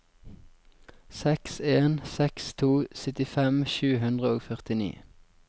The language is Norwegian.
seks en seks to syttifem sju hundre og førtini